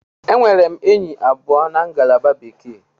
Enwere m enyi abụọ na ngalaba Bekee.